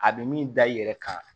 A bɛ min da i yɛrɛ kan